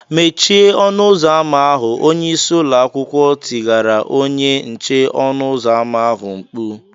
"Mechie ọnụ ụzọ ámá ahụ!” Onye isi ụlọ akwụkwọ tigara onye nche ọnụ ụzọ ámá ahụ mkpu